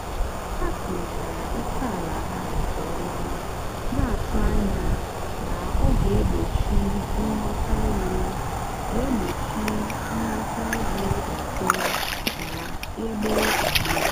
ha kwurịtara ókèala ha nke ọma na-atụ anya na ọ ga-egbochi nghọtahie ga-egbochi nghọtahie ọzọ na-egbu mgbu.